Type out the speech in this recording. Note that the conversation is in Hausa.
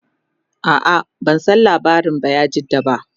a'a ban San labarin bayajidda ba